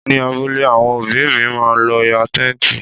Ní abúlé, àwọn òbí mi má lọ yá Tẹ́ǹtì.